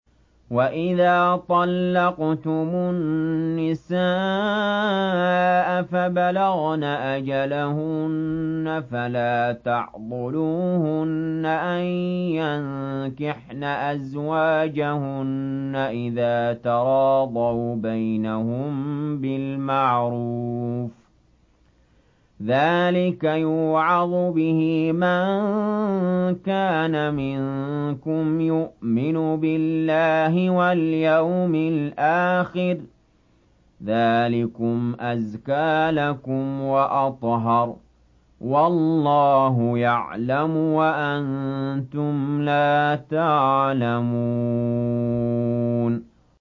وَإِذَا طَلَّقْتُمُ النِّسَاءَ فَبَلَغْنَ أَجَلَهُنَّ فَلَا تَعْضُلُوهُنَّ أَن يَنكِحْنَ أَزْوَاجَهُنَّ إِذَا تَرَاضَوْا بَيْنَهُم بِالْمَعْرُوفِ ۗ ذَٰلِكَ يُوعَظُ بِهِ مَن كَانَ مِنكُمْ يُؤْمِنُ بِاللَّهِ وَالْيَوْمِ الْآخِرِ ۗ ذَٰلِكُمْ أَزْكَىٰ لَكُمْ وَأَطْهَرُ ۗ وَاللَّهُ يَعْلَمُ وَأَنتُمْ لَا تَعْلَمُونَ